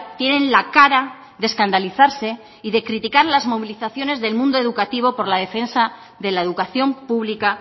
tienen la cara de escandalizarse y de criticar las movilizaciones del mundo educativo por la defensa de la educación pública